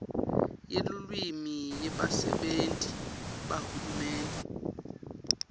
yelulwimi yebasebenti bahulumende